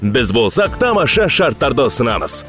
біз болсақ тамаша шарттарды ұсынамыз